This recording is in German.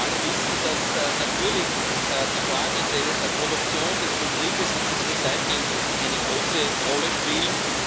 Wir alle wissen, dass natürlich die Fragen der Produktion, des Betriebs und des Recyclings eine große Rolle spielen.